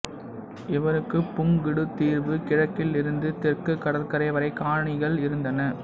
இவருக்கு புங்குடுதீவு கிழக்கில் இருந்து தெற்குக் கடற்கரை வரை காணிகள் இருந்தன